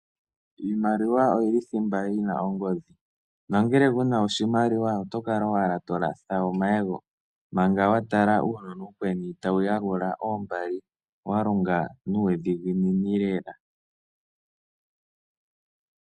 Iimaliwa oyi li thimba yi na ongodhi. Nongele ku na oshimaliwa oto kala owala to latha omayego, manga wa tala uunona uukweni tawu yalula oombali wa longa nuudhiginini lela.